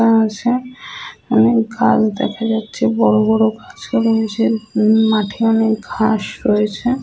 আছে এবং গাছ দেখা যাচ্ছে বড়বড় গাছ আছে এবং সে মাঠে অনেক ঘাস রয়েছে।